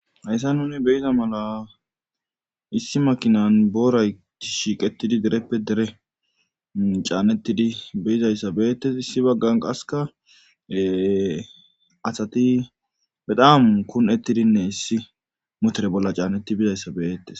hayssa nuni beyiza mala issi makinan booray shiiqetidi dereppe dere caanettidi beyizayssa beettes issi baggan qaseka asati bedaamu kun7ettidinne issi motere bolla caannetti bizayssa beyettes